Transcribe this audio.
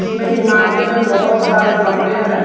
इसमें इमारते मे बोहोत सारे कमरे हैं।